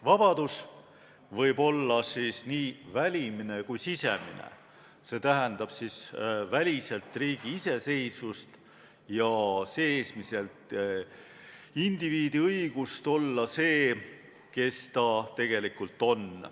Vabadus võib olla nii välimine kui sisemine, see tähendab väliselt riigi iseseisvust ja seesmiselt indiviidi õigust olla see, kes ta tegelikult on.